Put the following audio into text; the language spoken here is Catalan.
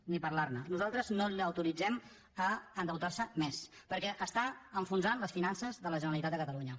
ni parlar ne nosaltres no l’autoritzem a endeutar se més perquè està enfonsant les finances de la generalitat de catalunya